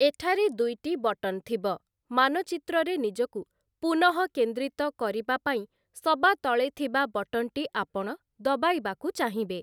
ଏଠାରେ ଦୁଇଟି ବଟନ୍‌ ଥିବ ମାନଚିତ୍ରରେ ନିଜକୁ ପୁନଃକେନ୍ଦ୍ରୀତ କରିବା ପାଇଁ ସବାତଳେ ଥିବା ବଟନ୍‌ଟି ଆପଣ ଦବାଇବାକୁ ଚାହିଁବେ ।